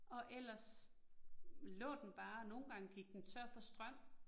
Og ellers lå den bare, nogle gange gik den tør for strøm